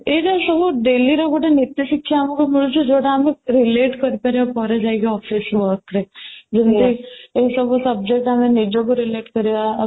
ଏଇଟା ସବୁ daily ର ସବୁ ନୀତିଶିକ୍ଷା ଆମକୁ ମିଳୁଛି ଯୋଉଟା ଆମେ relate କରିପାରିବା ପରେ ଯାଇକି office work ରେ ଯେମିତି ଏଇସବୁ subject ଆମେ ନିଜକୁ relate କରିବା